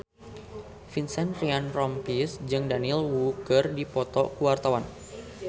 Vincent Ryan Rompies jeung Daniel Wu keur dipoto ku wartawan